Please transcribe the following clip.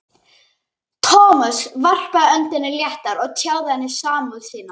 Thomas varpaði öndinni léttar og tjáði henni samúð sína.